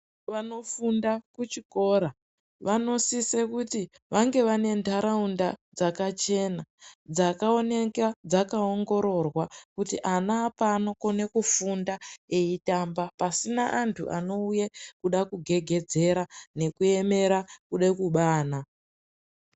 Vanofunda kuchikora, vanosisa kuti vange vane ndaraunda dzakachena, dzakaoneka dzakaongororwa, kuti ana pano kune kufunda eyitamba pasina antu anouya kuda kugegedzera nekuemera kuda kuba ana.